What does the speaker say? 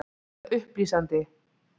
Var þetta upplýsandi?